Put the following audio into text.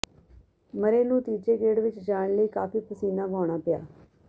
Murray ਨੂੰ ਤੀਜੇ ਗੇਡ਼ ਵਿੱਚ ਜਾਣ ਲਈ ਕਾਫੀ ਪਸੀਨਾ ਵਹਾਉਣਾ ਪਿਆ